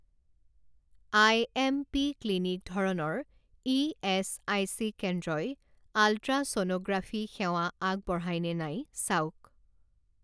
IMP. Clinic ধৰণৰ ESIC কেন্দ্ৰই ultrasonography সেৱা আগবঢ়ায় নে নাই চাওক